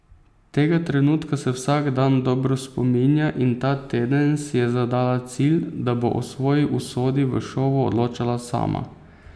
Tega trenutka se vsak dan dobro spominja in ta teden si je zadala cilj, da bo o svoji usodi v šovu odločala sama.